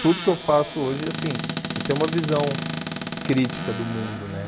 Tudo que eu faço hoje, assim, eu tenho uma visão crítica do mundo, né?